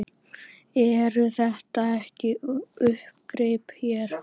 Eru þetta ekki uppgrip hér?